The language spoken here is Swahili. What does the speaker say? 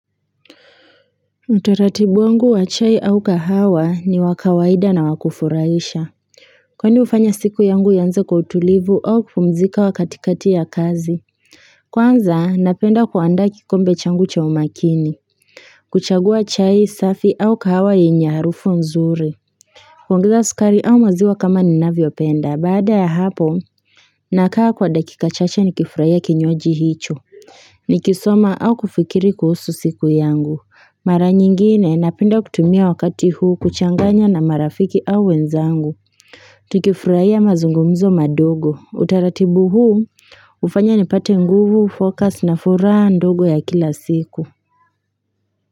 Utaratibu wangu wa chai au kahawa ni wa kawaida na wakufurahisha kwani hufanya siku yangu ianze kwa utulivu au kupumzika katikati ya kazi kwanza napenda kuandaa kikombe changu cha umakini kuchagua chai safi au kahawa yenye harufu nzuri kuongeza sukari au maziwa kama ninavyo penda baada ya hapo nakaa kwa dakika chache ni kifurahia kinywaji hicho ni kisoma au kufikiri kuhusu siku yangu Mara nyingine napenda kutumia wakati huu kuchanganya na marafiki au wenzangu Tukifurahia mazungumzo madogo utaratibu huu hufanya nipate nguvu focus na furaha ndogo ya kila siku.